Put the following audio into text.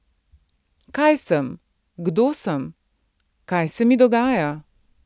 Kaj sem, kdo sem, kaj se mi dogaja?